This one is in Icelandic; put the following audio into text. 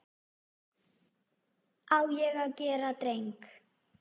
Á ég að gera dreng?